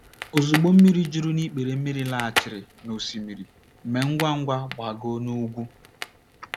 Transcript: Ozugbo mmiri juru n’ikpere mmiri laghachiri n’osimiri, mee ngwa ngwa gbagoo n’ugwu.